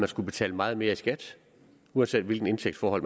skullet betale meget mere i skat uanset hvilke indtægtsforhold